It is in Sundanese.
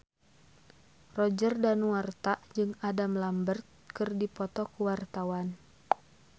Roger Danuarta jeung Adam Lambert keur dipoto ku wartawan